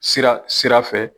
Sira sira fɛ